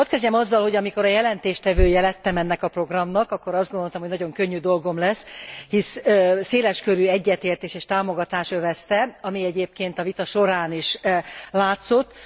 Hadd kezdjem azzal, hogy amikor a jelentéstevője lettem ennek a programnak, akkor azt gondoltam, hogy nagyon könnyű dolgom lesz, hisz széleskörű egyetértés és támogatás övezte, ami egyébként a vita során is látszott.